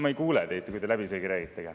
Ma ei kuule teid, kui te läbisegi räägite.